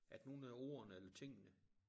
At nogen af ordene eller tingene